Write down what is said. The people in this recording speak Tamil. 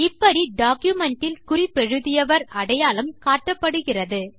இப்படி டாக்குமென்ட் இல் குறிப்பெழுதியவர் அடையாளம் காட்டப்படுகிறார்